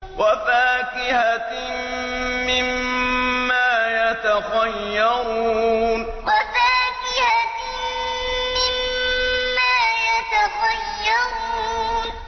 وَفَاكِهَةٍ مِّمَّا يَتَخَيَّرُونَ وَفَاكِهَةٍ مِّمَّا يَتَخَيَّرُونَ